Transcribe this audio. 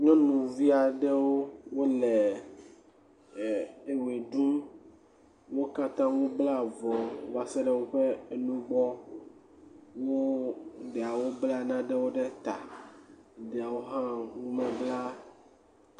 Nyɔnuvi aɖewo wole ɛɛ ɛɛ ewoe ɖum. Wo katã wobla avɔ va se ɖe woƒe eno gbɔ. Wo ɖeawo bla naɖewo ɖe ta. Ɖeawo hã womebla.